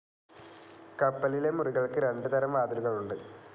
കപ്പലിലെ മുറികൾക്ക് രണ്ട് തരം വാതിലുകളുണ്ട്.